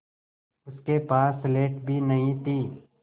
उसके पास स्लेट भी नहीं थी